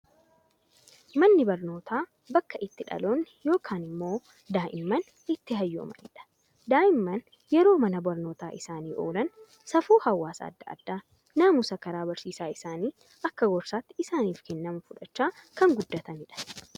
Manni barnootaa, bakka itti dhaloonni yookaan immoo daa'imman itti hayyoomanidha. Daa'imman yeroo mana barnootaa isaanii oolan safuu hawaasa addaa addaa, naamusa karaa barsiisaa isaanii akka gorsaatti isaaniif kennamu fudhachaa kan guddatanidha.